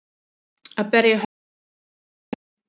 Að berja höfðinu við steininn